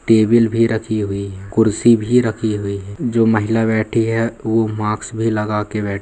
table भी रखी हुई है कुर्सी भी रखी हुई है जो महिला बैठी है वो माक्स भी लगा के बैठ --